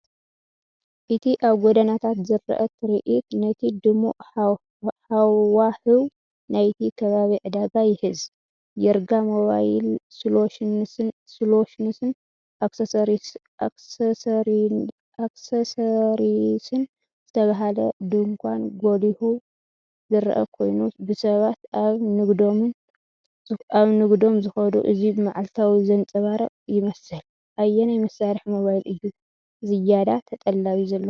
እቲ ኣብ ጎደናታት ዝረአ ትርኢት ነቲ ድሙቕ ሃዋህው ናይቲ ከባቢ ዕዳጋ ይሕዝ! "ይርጋ ሞባይል ሶሉሽንስን ኣክሰሰሪስን" ዝተባህለ ድኳን ጐሊሑ ዝረአ ኮይኑ፡ ብሰባት ኣብ ንግዶም ዝኸዱ፡ እዚ መዓልታዊ ዘንጸባርቕ ይመስል። ኣየናይ መሳርሒ ሞባይል እዩ ዝያዳ ተጠላቢ ዘለዎ?